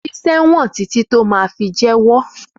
Físẹ wọn titi tó mà fí jẹwọ!